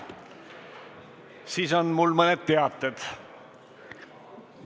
Siis on mul mõned teated.